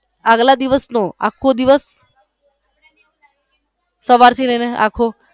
આગલા દિવસ નો આખો દિવસ સવાર થી લઇ ને આખો.